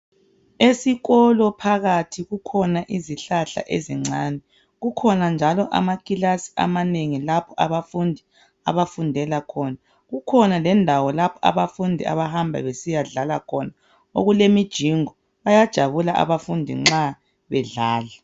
Esikolo phakathi kukhona izihlahla ezincane. Kukhona njalo amakilasi amanengi lapho abafundi abafundela khona. Kukhona lendawo lapho abafundi abahamba besiyadlala khona okulemujingo. Bayajabula abafundi nxa bedlala.